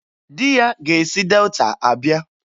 Di ya ga-esi Delta abịa